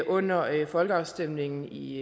under folkeafstemningen i